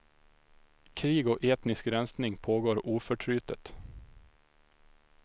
Krig och etnisk rensning pågår oförtrutet.